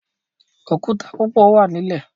Òkúta púpọ wá nlè